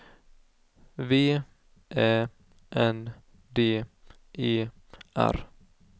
V Ä N D E R